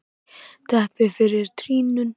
Teppi fyrir trýninu.